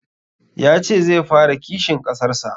Ya ce zai fara kishin kasar sa